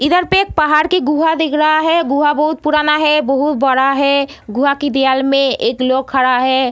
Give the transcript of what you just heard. इधर पे एक पहाड़ की गुफा दिख रहा है | गुफा बहुत पुराना है | बहुत बड़ा है | गुफा की दीवाल में एक लोग खड़ा है |